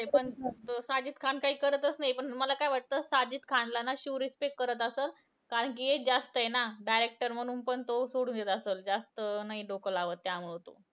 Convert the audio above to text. नाही पण साजिद खान काही करतंच नाही, पण तुम्हांला काय वाटतं साजिद खानला ना शिव respect करत असलं. कारण कि age जास्त आहे ना director म्हणून पण तो सोडून देत असलं. जास्त नाही डोकं लावत त्यामुळं.